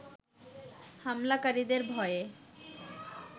হামলাকারীদের ভয়ে